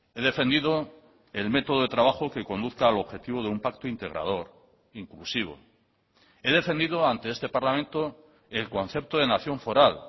he defendido el método de trabajo que conduzca al objetivo de un pacto integrador inclusivo he defendido ante este parlamento el concepto de nación foral